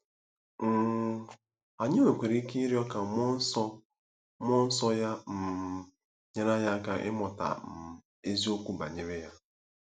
um Anyị nwekwara ike ịrịọ ka mmụọ nsọ mmụọ nsọ ya um nyere anyị aka ịmụta um eziokwu banyere ya.